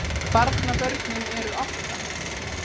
Barnabörnin eru átta